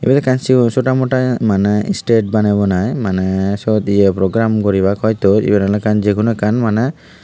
iyot ekkan chigon chota mota maneh state banebunai maneh syot ye program guribak hoito iyen oley ekkan jeguno ekkan maneh.